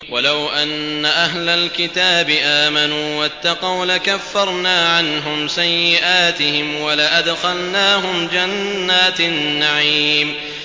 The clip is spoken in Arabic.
وَلَوْ أَنَّ أَهْلَ الْكِتَابِ آمَنُوا وَاتَّقَوْا لَكَفَّرْنَا عَنْهُمْ سَيِّئَاتِهِمْ وَلَأَدْخَلْنَاهُمْ جَنَّاتِ النَّعِيمِ